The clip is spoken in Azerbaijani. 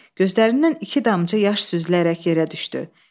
Gözlərindən iki damcı yaş süzülərək yerə düşdü.